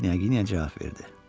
Knyaginya cavab verdi.